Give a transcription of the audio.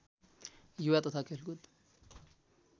युवा तथा खेलकुद